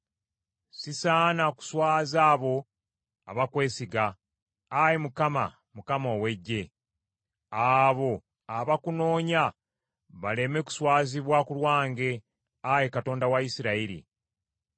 Sisaana kuswaza abo abakwesiga, Ayi Mukama, Mukama ow’Eggye. Abo abakunoonya baleme kuswazibwa ku lwange, Ayi Katonda wa Isirayiri.